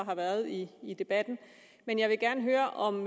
har været i i debatten men jeg vil gerne høre om